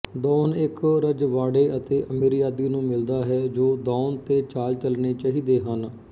ਦੌਨ ਇੱਕ ਰਜਵਾੜਇ ਤੇ ਅਮੀਰਯਾਦੀ ਨੂੰ ਮਿਲਦਾ ਹੈ ਜੋ ਦੌਨ ਤੇ ਚਾਲ ਚਲਣੀ ਚਹੀਦੇ ਹਨ